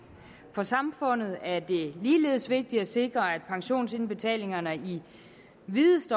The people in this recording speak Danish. for samfundet er det ligeledes vigtigt at sikre at pensionsindbetalingerne i videst